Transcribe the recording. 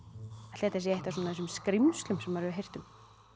ætli þetta sé eitt af þessum skrímslum sem maður hefur heyrt um